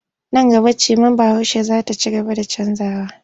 Nan gaba cimar Bahaushe za ta ci gaba da canjawa.